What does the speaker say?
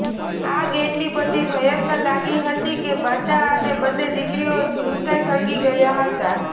આગ એટલી બધી ભયંકર લાગી હતી કે માતા અને બંને દીકરીઓ જીવતા સળગી ગયા હતા